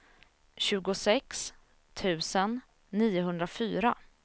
tjugosex tusen niohundrafyra